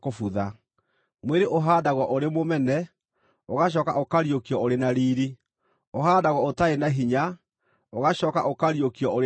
mwĩrĩ ũhaandagwo ũrĩ mũmene, ũgacooka ũkariũkio ũrĩ na riiri; ũhaandagwo ũtarĩ na hinya, ũgacooka ũkariũkio ũrĩ na hinya;